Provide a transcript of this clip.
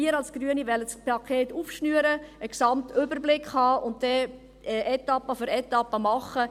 Wir als Grüne wollen das Paket aufschnüren, einen Gesamtüberblick haben und dann Etappe für Etappe machen.